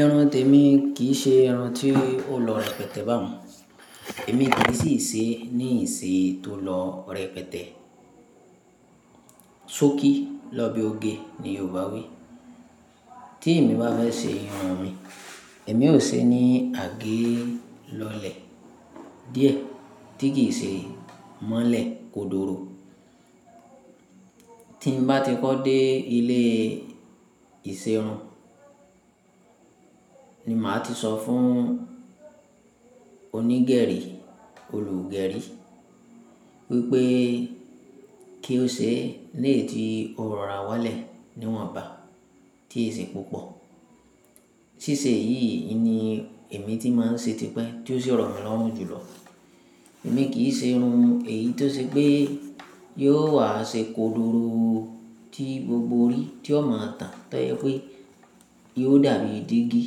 Ẹran tèmi kì í ṣe ẹran tí ó lọ rẹpẹtẹ bá wọn. Èmi ti lè sì ṣe ní ìṣe tó lọ rẹpẹtẹ. Sọ́kí lọ́ bẹ ó gé ni Yorùbá wí. Tí èmi bá fẹ́ ṣe irun mi, èmi ò ṣe ní àgé lọlẹ̀. Díẹ̀, tíkí ìṣe mọ́lẹ̀ kodoro. Tí n bá ti kọ́ dé ilé ìṣerun ni màá ti sọ fún onígẹ̀rí, olùgẹ̀rí wípé kí ó ṣe léétí oròra wálẹ̀ níwọ̀nba tí èsì púpọ̀. Síse yìí ni èmi ti máa ń ṣe tipẹ́ tí ó ṣi rọ̀ mí lọ́hùn jùlọ. Èmi kì í ṣe irun èyí tó ṣe pé yóò wá ṣe kodoro tí gbogbo orí tí ó máa tàn tọ́yẹ pé yóò dàbí dígí.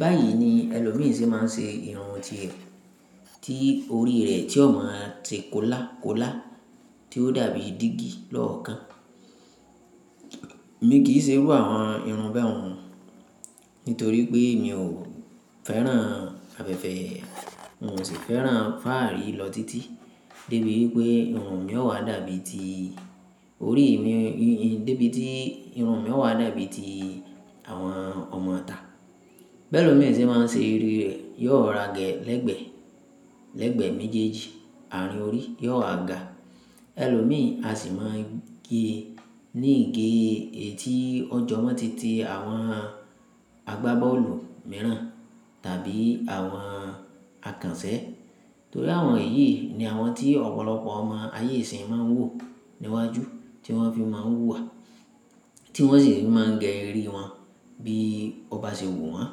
Báyìí ni ẹlòmíràn sì máa ń ṣe irun ti rẹ̀ tí orí rẹ̀ tí ó máa ṣe kóla kóla tí ó dàbí dígí lọ́ọ̀kan. Èmi kì í ṣe irú àwọn irun ba un nítorí pé mi ò fẹ́ràn afẹ̀fẹ́, n ò sì fẹ́ràn fáàrí lọ títí débi wípé irun mi ó wá dàbí ti orí mi, débí tí irun mi ó wá dàbí ti àwọn ọmọ ta. Bẹ́ẹ̀ lọ̀ mí sì máa ń ṣe orí rẹ̀, yóò ra gẹ̀ lẹ́gbẹ̀ẹ́ lẹ́gbẹ̀ẹ́ méjèèjì àárín orí, yóò ha ga. Ẹ̀lọ́ mìí àsì máa ń gé ní ìgé ètí ọjọ́ mọ́ títí àwọn àgbábọ́ọ̀lù mìíràn tàbí àwọn àkànṣẹ̀. Torí àwọn èyí ni àwọn tí ọ̀pọ̀lọpọ̀ ọmọ ayé ìsín máa ń wò níwájú tí wọ́n fi máa ń hùwà, tí wọ́n sì máa ń gé orí wọn bí ó bá ṣe wù wọ́n.